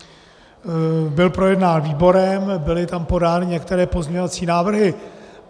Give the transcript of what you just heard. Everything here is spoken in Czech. Byl projednán výborem, byly tam podány některé pozměňovací návrhy.